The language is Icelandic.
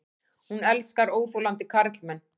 Hún elskar óþolandi karlmenn.